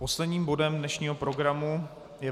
Posledním bodem dnešního programu je